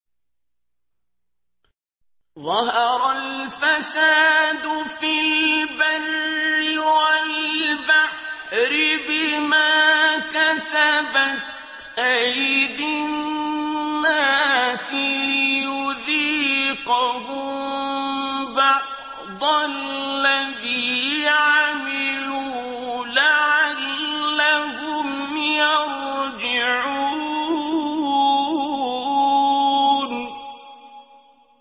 ظَهَرَ الْفَسَادُ فِي الْبَرِّ وَالْبَحْرِ بِمَا كَسَبَتْ أَيْدِي النَّاسِ لِيُذِيقَهُم بَعْضَ الَّذِي عَمِلُوا لَعَلَّهُمْ يَرْجِعُونَ